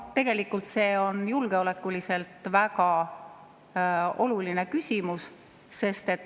Tegelikult see on julgeolekuliselt väga oluline küsimus.